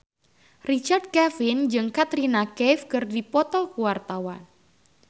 Richard Kevin jeung Katrina Kaif keur dipoto ku wartawan